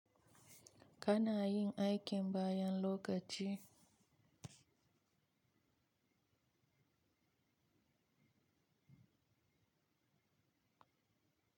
Ka na yin aikin bayan lokaci?